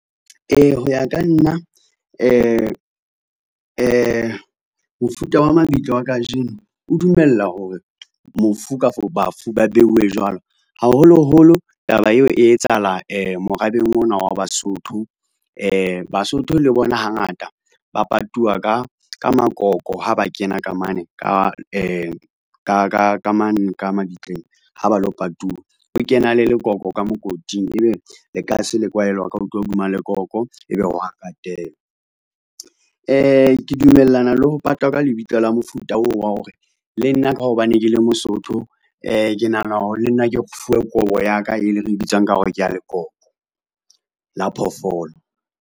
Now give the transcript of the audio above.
Ho ya ka nna mofuta wa mabitla wa kajeno o dumella hore mofu kafo bafu ba beuwe jwalo. Haholoholo taba eo e etsahala morabeng ona wa Basotho. Basotho le bona hangata ba patuwa ka makoko ha ba kena ka mane ka ka mane ka ka mane ka mabitleng ho ba lo patuwa. O kena le lekoko ka mokoting. Ebe lekase le kwahelwa ka hodima lekoko. Ebe wa katelwa. Ke dumellana le ho patwa ka lebitla la mofuta oo wa hore le nna ka hobane ke le Mosotho. Ke nahana hore le nna ke fuwe kobo ya ka e re bitsang ka hore ke ya lekoko la phoofolo.